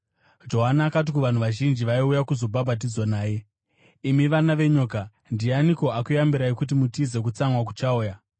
Johani akati kuvanhu vazhinji vaiuya kuzobhabhatidzwa naye, “Imi vana venyoka! Ndianiko akuyambirai kuti mutize kutsamwa kuchauya?